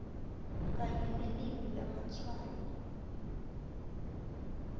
kanye nelimi lamatshwayo